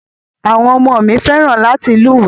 Àwọn ọmọ mi fẹ́ràn láti lúwèé.